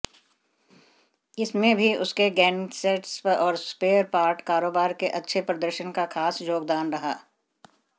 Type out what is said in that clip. इसमें भी उसके गेनसेट्स और स्पेयर पार्ट कारोबार के अच्छे प्रदर्शन का खास योगदान रहा